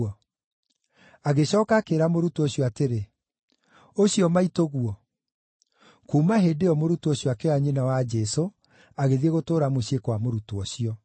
agĩcooka akĩĩra mũrutwo ũcio atĩrĩ, “Ũcio maitũguo.” Kuuma hĩndĩ ĩyo mũrutwo ũcio akĩoya nyina wa Jesũ, agĩthiĩ gũtũũra mũciĩ kwa mũrutwo ũcio.